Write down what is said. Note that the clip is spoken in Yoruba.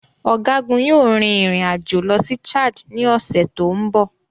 Ọ̀gágun yóò rin ìrìn àjò lọ sí Chad ní ọ̀sẹ̀ tó ń bọ̀.